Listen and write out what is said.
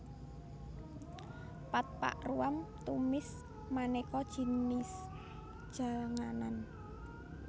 Pad pak ruam tumis manéka jinis janganan